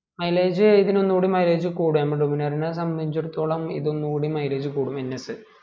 milage ഇതിന് ഒന്നൂടി mileage കൂടും duminar നെ സമ്മയ്ച്ചെടുത്തോളം ഇത് ഒന്നുകൂടി mileage കൂടും ns